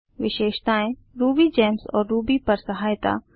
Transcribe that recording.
विशेषताएँ रूबीजेम्स और रूबी पर सहायता